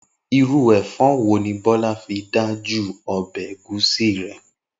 Irú è̩fó̩ wo ni Bó̩lá fi dájú o̩bè̩ ègúsí rè̩?